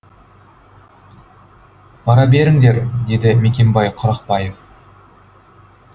бара беріңдер деді мекенбай құрақбаев